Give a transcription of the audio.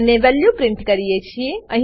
અને value print કરીએ છીએ